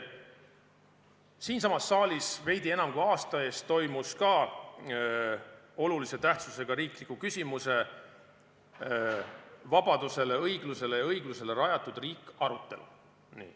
Siinsamas saalis toimus veidi enam kui aasta eest ka olulise tähtsusega riikliku küsimuse "Vabadusele, õiglusele ja õigusele rajatud riik" arutelu.